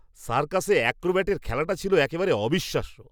সার্কাসে অ্যাক্রোব্যাটের খেলাটা ছিল একেবারে অবিশ্বাস্য!